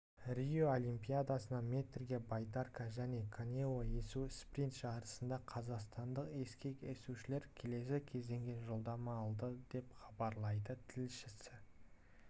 рио олимпиадасында метрге байдарка және каноэ есу спринт жарысында қазақстандық ескек есушілер келесі кезеңге жолдама алды деп хабарлайды тілшісі